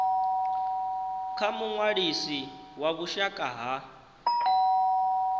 kha muṅwalisi wa vhushaka ha